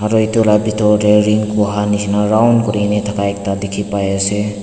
aru etu laga bithor teh ring boha nisna round kuri ne thaka ekta dikhi pai ase.